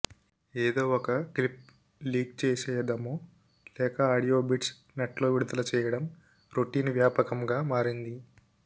ఎదో ఒక clip leak చేసేయదమో లేక ఆడియో బిట్స్ నెట్లో విడుదల చేయడం రొటీన్ వ్యాపకంగా మారింది